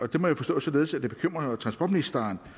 det må jeg forstå således at transportministeren